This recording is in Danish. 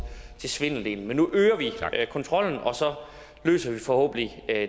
svindeldelen men nu øger vi kontrollen og så løser det forhåbentlig